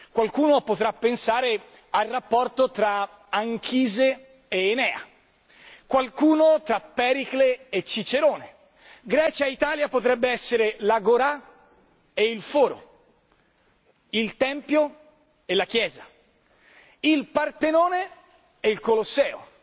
Qualcuno potrà pensare al rapporto tra Anchise ed Enea, qualcun altro tra Pericle e Cicerone, Grecia e Italia potrebbe essere l'agorà e il foro, il tempio e la chiesa, il Partenone e il Colosseo